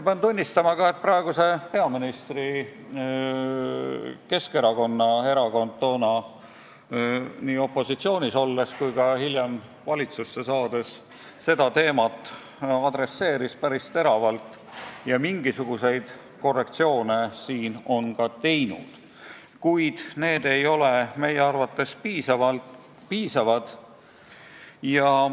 Pean tunnistama, et ka praeguse peaministri erakond, Keskerakond adresseeris toona nii opositsioonis olles kui ka hiljem valitsusse saades seda teemat päris teravalt ja on siin mingisuguseid korrektsioonegi teinud, kuid need ei ole meie arvates piisavad.